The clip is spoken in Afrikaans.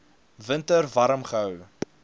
winter warm gehou